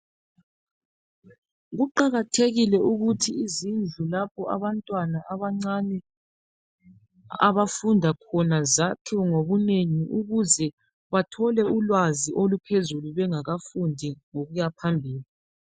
Kuqakathekile ukuthi izindlu lapho abantwana abancane abafunda khona zakhiwe ngobunengi ukuze bathole ulwazi oluphezulu bengakafundi ngokuyaphambili